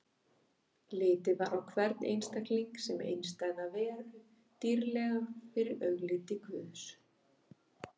Litið var á hvern einstakling sem einstæða veru, dýrlega fyrir augliti Guðs.